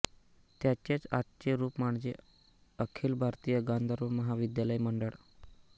त्याचेच आजचे रूप म्हणजे अखिल भारतीय गांधर्व महाविद्यालय मंडळ